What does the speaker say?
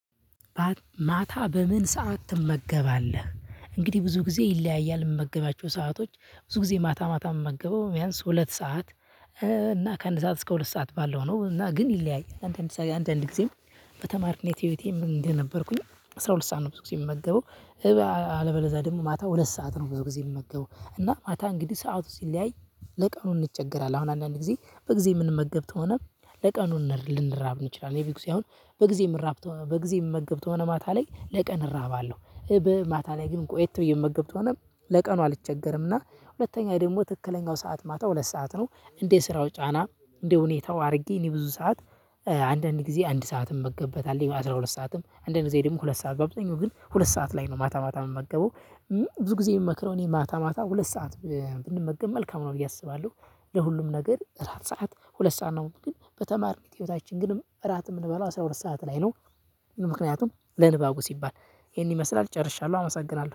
ማታ በምን ሰዓት ትመገባለህ? እንግዲህ ብዙ ጊዜ ይለያያል የምመገባቸው ሰአቶች ብዙ ጊዜ ማታ ማታ የምመገበው ቢያንስ ሁለት ሰዓት እና ከአንድ ሰዓት እስከ ሁለት ሰዓት ባለው ነው እና ግን ይለያያል። አንድ አንድ አንዳንድ ጊዜ በተማሪነት ህይወቴ ምን እንደነበርኩኝ አስራ ሁለት ሰዓት ነው። ብዙ ጊዜ የምመገበው እባ አለበለዛ ደግሞ ማታ ሁለት ሰዓት ነው። ብዙ ጊዜ የምመገበው እና ማታ እንግዲህ ሰዓት ሲለያይ ለቀኑ እንቸገራለን። አሁን አንዳንድ ጊዜ በጊዜ የምንመገብት ሆነ ለቀኑን ልንራብ እንችላለን። የብዙ ሳይሆን በጊዜ ምራብ በጊዜ ምመገብ ከሆነ ማታ ላይ ለቀን እራባለሁ። በማታ ላይ ግን ቆየት የምመገብ ከሆነ ለቀኑ አልቸገርምና። ሁለተኛ ደግሞ ትክክለኛው ሰዓት ማታ ሁለት ሰዓት ነው። እንደ ስራው ጫና እንደ ሁኔታው አድርጌ እኔ ብዙ ሰዓት አንዳንድ ጊዜ አንድ ሰዓትም የምመገብበት አለኝ። አስራ ሁለት ሰዓትም አንድ ጊዜ ደግሞ ሁለት ሰዓት ላይ ነው የምተኛው። ግን ሁለት ሰዓት ላይ ነው ማታ ማታ የምመገበው። ብዙ ጊዜ የምመክረው እኔ ማታ ማታ ሁለት ሰዓት ብንመገብ መልካም ነው ብዬ አስባለሁ። ለሁሉም ነገር እራት ሰዓት ሁለት ሰዓት ነው። ግን በተማሪ ህይወታችን ግን እራት የምንበለው አስራ ሁለት ሰዓት ላይ ነው። ምክንያቱም ለንባቡ ሲባል ይሄን ይመስላል ጨርሻለሁ አመሰግናለሁ